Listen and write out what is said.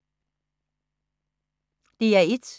DR1